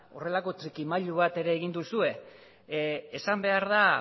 horrelako trikimailu bat ere egin duzue esan behar da